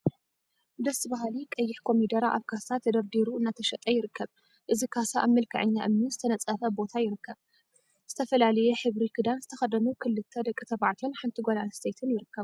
ደስ በሃሊ ቀይሕ ኮሚደረ አብ ካሳ ተደርዲሩ እናተሸጠ ይርከብ፡፡ እዚ ካሳ አብ መልክዐኛ እምኒ ዝተነፀፈ ቦታ ይርከብ፡ሸ ዝተፈላለየ ሕብሪ ክዳን ዝተከደኑ ክልተ ደቂ ተባዕትዮን ሓንቲ ጓል አንስተይቲን ይርከቡ፡፡